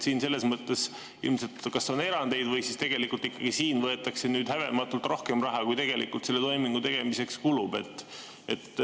Siin selles mõttes ilmselt kas on erandeid või siis ikkagi siin võetakse häbematult rohkem raha, kui tegelikult selle toimingu tegemiseks kulub.